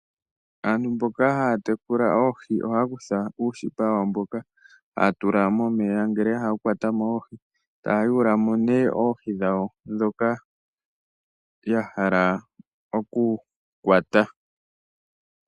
Aantu mboka haya tekula oohi ohaa kutha uushipa wawo mboka haa tula momeya ngele ya hala okukwata mo oohi, taa yuula mo nee oohi dhawo ndhoka ya hala okukwata.